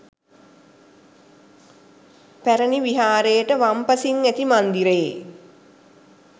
පැරැණි විහාරයට වම්පසින් ඇති මන්දිරයේ